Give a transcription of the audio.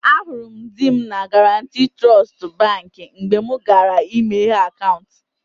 Ahụrụ m di m na Guarantee Trust Baankị mgbe mụ gara ịmeghe akaụntụ